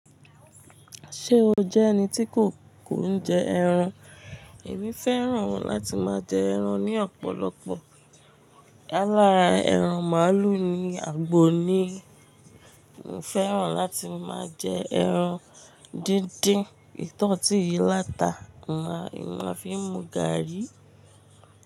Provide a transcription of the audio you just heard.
Ṣé o jẹ́ ẹni tí kò, kò ń jẹ ẹran? Èmi fẹ́ràn láti máa jẹ ẹran ní ọ̀pọ̀lọpọ̀. Álá ẹran màálù ni àgbo ni mo fẹ́ràn láti máa jẹ ẹran díndín. Eyi ti won yí láta máa fi mu gààrí.